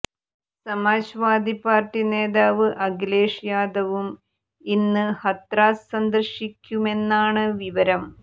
സമാജ് വാദി party നേതാവ് അഖിലേഷ് യാദവും ഇന്ന് ഹത്രാസ് സന്ദര്ശിക്കുമെന്നാണ് വിവരം